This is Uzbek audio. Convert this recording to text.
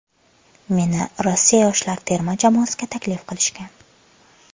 Meni Rossiya yoshlar terma jamoasiga taklif qilishgan.